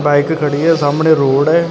Bike ਖੜੀ ਹ ਸਾਹਮਣੇ ਰੋਡ ਐ।